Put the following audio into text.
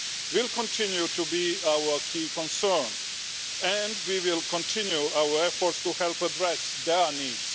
will continue to be our key concern, and we will continue our efforts to help address their needs.